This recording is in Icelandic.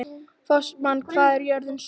Fossmar, hvað er jörðin stór?